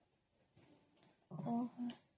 ଓହୋ